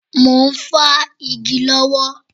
Mo ń fá igi lọ́wọ́